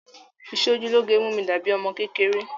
Ìṣojúlóge mú mi dà bíi ọmọ kékeré